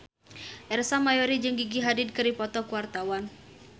Ersa Mayori jeung Gigi Hadid keur dipoto ku wartawan